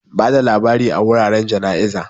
Bada labari a wuraren jana'iza.